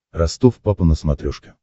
ростов папа на смотрешке